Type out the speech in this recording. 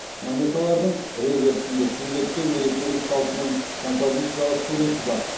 монеталардың реверсінде сүндет той мерекелік салтының композициялық суреті бар